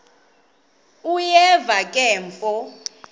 uyeva ke mfo